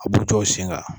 A b'u tɔ sen ka